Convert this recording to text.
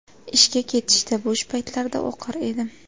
Ishga ketishda, bo‘sh paytlarda o‘qir edim.